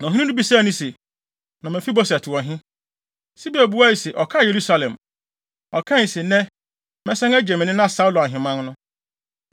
Na ɔhene no bisaa no se, “Na Mefiboset wɔ he?” Siba buae se, “Ɔkaa Yerusalem. Ɔkae se, ‘Nnɛ, mɛsan agye me nena Saulo ahemman no.’ ”